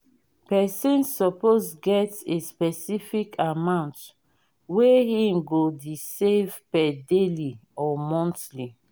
persin suppose get a specific amount wey him go de save per daily or monthly